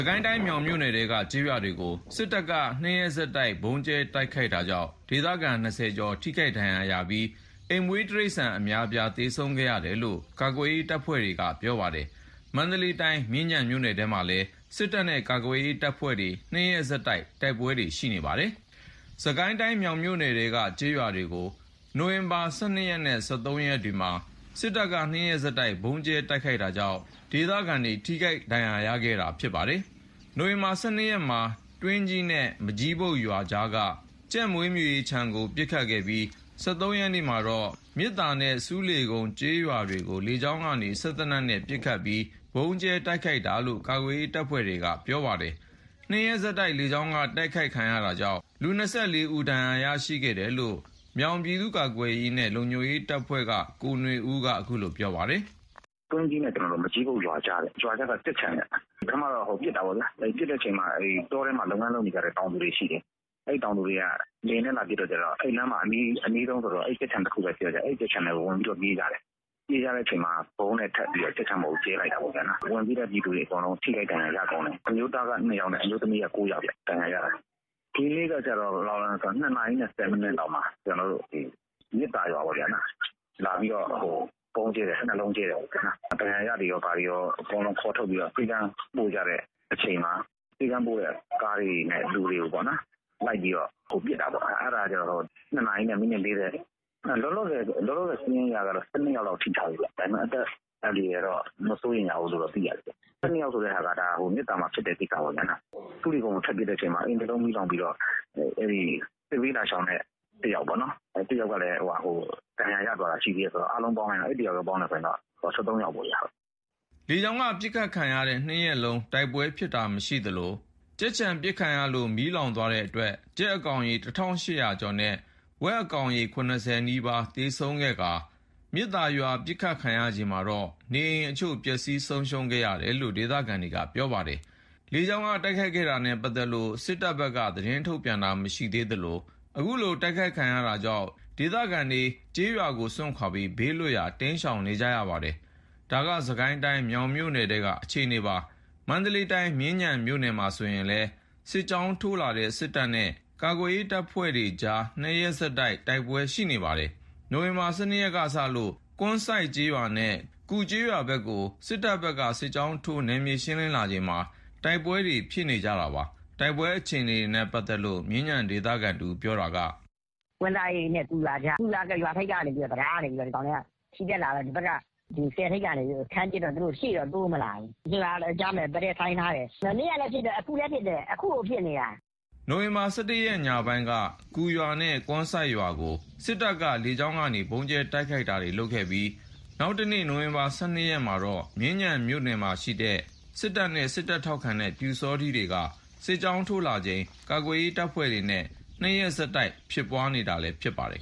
ကိုင်းတိုင်း မြောင်မြို့နယ်ထဲက ကျေးရွာတွေကို စစ်တပ်က ၂ ရက် ဆက်တိုက် ဗုံးကြဲတိုက်ခိုက်တာကြောင့် ဒေသခံ ၂၀ ကျော် ထိခိုက်ဒဏ်ရာရခဲ့ပြီး အိမ်မွေး တိရိစ္ဆာန်အများအပြား သေဆုံးခဲ့တယ်လို့ ကာကွယ်ရေး တပ်ဖွဲ့တွေက ပြောပါတယ်။မန္တလေးတိုင်း မြင်းခြံမြို့နယ်ထဲမှာလည်း စစ်တပ်နဲ့ကာကွယ်ရေးတပ်ဖွဲ့တွေ ၂ ရက်ဆက်တိုက် တိုက်ပွဲတွေ ရှိနေပါတယ်။ စစ်ကိုင်းတိုင်း မြောင်မြို့နယ်ထဲက ကျေးရွာတွေကို နိုဝင်ဘာ ၁၂ ရက်နဲ့ ၁၃ ရက်တို့မှာ စစ်တပ်က ၂ ရက်ဆက်တိုက် ဗုံးကြဲတိုက်ခိုက်တာကြောင့် ဒေသခံတွေ ထိခိုက်ဒဏ်ရာ ရခဲ့တာလည်း ဖြစ်ပါတယ်။ နိုဝင်ဘာ ၁၂ ရက်မှာ တွင်းကြီးနဲ့ မကျီးဘုတ်ရွာကြားက ကြက်မွေးမြူရေးခြံကို ပစ်ခတ်ခဲ့ပြီး ၁၃ ရက်မှာတော့ မြစ်သာနဲ့ ဆူးလေကုန်းက ကျေးရွာတို့ကို လေကြောင်းကနေ စက်သေနတ်တွေနဲ့ ပစ်ခတ်ပြီး ဗုံးကြဲတိုက်ခိုက်ခဲ့တာလို့ ကာကွယ်ရေး တပ်ဖွဲ့တွေက ပြောပါတယ်။ ၂ ရက်ဆက်တိုက် လေကြောင်းက တိုက်ခိုက်ခံရတာကြောင့် ၂၄ ဦး ဒဏ်ရာရရှိခဲ့တယ်လို့လည်း မြောင်ပြည်သူ့ကာကွယ်ရေးနဲ့လုံခြုံရေးအဖွဲ့က ကိုနွေဦးက အခုလို ပြောပါတယ်။ "တွင်းကြီးနဲ့ မကျီးဘုတ်ရွာကြားက ကြက်ခြံခင်ဗျ။ ပထမတော့ ပစ်တာပေါ့။ ပစ်တဲ့အချိန် တောထဲမှာ လုပ်ငန်း လုပ်နေတဲ့ တောင်သူတွေရှိတယ်။ အဲဒီတောင်သူတွေက လေယာဉ်နဲ့လာပစ်တော့ အနားမှာအနီးဆုံးကြက်ခြံတခုပဲရှိတော့ အဲဒီကြက်ခြံထဲကို ဝင်ပြီးတော့ ပြေးတာခင်ဗျ။ပြေးတဲ့အချိန်မှာ ဗုံးနဲ့ ကြက်ခြံပေါ်ကို ကြဲလိုက်တာပေါ့။ ဝင်ပြေးတဲ့ပြည်သူတွေအကုန် ထိခိုက်ဒဏ်ရာ ရကုန်တယ်။ အမျိုးသားက ၂ ယောက်အမျိုးသမီးက ၉ ယောက် ဒဏ်ရာ ရတာ။ ဒီနေ့ကကျတော့ ၂ နာရီနဲ့ ၁၀ မိနစ်လောက်မှာ မြစ်သာရွာပေါ့ လာပြီးတော့ ဗုံးကြဲတယ်။ ၂ လုံးကြဲတယ်။ ဒဏ်ရာရတွေကော အကုန်ခေါ်ထုတ်ပြီး ဆေးခန်းပို့ကြတဲ့အချိန်မှာ ဆေးခန်းပို့တဲ့ ကားတွေနဲ့ လူတွေကို လိုက်ပြီးတော့ ပစ်တာပေါ့။ အဲ့ဒါက ၂ နာရီနဲ့ မိနစ် ၄၀။ လောလောဆယ် စာရင်းအရတော့ ၁၂ ယောက်လောက် ထိထားတယ်ခင်ဗျ။ ဒါပေမယ့် အသက်အန္တရာယ် မစိုးရိမ်ရဘူးလို့တော့ သိရတယ်။ ၁၂ ယောက်ဆိုတာ မြစ်သာမှာ ဖြစ်တဲ့ကိစ္စပေါ့။ ဆူးလေကုန်းကို ထပ်ပစ်တဲ့အချိန်မှာ စစ်ဘေးလာရှောင်တဲ့ ၁ ယောက်ပေါ့နော် ဒဏ်ရာရသွားတာရှိတယ်ဆိုတော့ အားလုံးပေါင်းလိုက်ရင် ၁၃ ယောက်ပေါ့။" လေကြောင်းက ပစ်ခတ်ခံရတဲ့ ၂ ရက်လုံး တိုက်ပွဲဖြစ်တာမရှိခဲ့သလို ကြက်ခြံပစ်ခတ်ခံရလို့ မီးလောင်သွားတဲ့အတွက် ကြက်အကောင်ရေ ၁၈၀၀ ကျော်နဲ့ ဝက်အကောင်ရေ ၇၀ နီးပါး သေဆုံးခဲ့ကာ မြစ်သာရွာပစ်ခတ်ခံရချိန်မှာတော့ နေအိမ်အချို့ပျက်စီးဆုံးရှုံးခဲ့တယ်လို့ ဒေသခံတွေက ပြောပါတယ်။ လေကြောင်းက တိုက်ခိုက်တာနဲ့ ပတ်သက်လို့ စစ်ကောင်စီဘက်က သတင်းထုတ်ပြန်တာ မရှိသေးသလို အခုလိုတိုက်ခိုက်ခံရတာကြောင့် ဒေသခံတွေ ကျေးရွာတွေကို စွန့်ခွါပြီး ဘေးလွတ်ရာ တိမ်းရှောင်နေရပါတယ်။ ဒါက စစ်ကိုင်းတိုင်း မြောင်မြို့နယ်ထဲက အခြေအနေပါ။ မန္တလေးတိုင်း မြင်းခြံမြို့မှာဆိုရင်လည်း စစ်ကြောင်းထိုးလာတဲ့ စစ်တပ်နဲ့ ကာကွယ်ရေး တပ်ဖွဲ့တွေ ၂ ရက်ဆက်တိုက် တိုက်ပွဲတွေရှိနေပါတယ်။ နိုဝင်ဘာ ၁၂ ရက်ကစလို့ ကွမ်းစိုက်ကျေးရွာနဲ့ကူကျေးရွာဘက်ကို စစ်တပ်ဘက်က စစ်ကြောင်းထိုး နယ်မြေရှင်းလင်းလာချိန်မှာ တိုက်ပွဲတွေဖြစ်နေကြတာပါ။ တိုက်ပွဲအခြေအနေနဲ့ ပတ်သက်လို့ မြင်းခြံဒေသခံတဦးပြောတာကတော့ "ကွမ်းစိုက်နဲ့ကူရွာကြား ကူရွာ ရွာထိပ်ကနေပြီးတော့ တံတားကနေ ချီတက်လာတော့ ဒီဘက်က ဆည်ထိပ်ကနေ ခံပစ်တော့ သူတို့ရှေ့တော့ တိုးမလာဘူး။ ၂ ရွာကြား တိုက်ပွဲဆိုင်ထားတယ်။ မနေ့ကလည်းဖြစ်တယ်။ အခုလည်းဖြစ်တယ်။ အခုကိုဖြစ်နေတာ။" နိုဝင်ဘာ ၁၁ ရက်ညပိုင်းက ကူရွာနဲ့ကွမ်းစိုက်ရွာကို စစ်တပ်က လေကြောင်းကနေ ဗုံးကြဲတိုက်ခိုက်တာတွေလုပ်ခဲ့ပြီး နောက်တနေ့ နိုဝင်ဘာ ၁၂ ရက်မှာတော့ မြင်းခြံမြို့မှာရှိတဲ့ စစ်တပ်နဲ့ စစ်တပ်ထောက်ခံတဲ့ ပျူစောထီးတွေက စစ်ကြောင်းထိုးလာချိန် ကာကွယ်ရေး တပ်ဖွဲ့တွေနဲ့ ၂ ရက်ဆက် တိုက်ပွဲဖြစ်နေတာလည်းဖြစ်ပါတယ်